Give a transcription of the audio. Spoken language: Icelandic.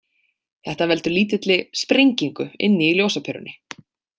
Þetta veldur lítilli „sprengingu“ inni í ljósaperunni.